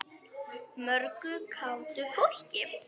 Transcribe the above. Mörgu kátu fólki.